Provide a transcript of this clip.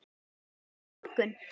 Kemurðu á morgun?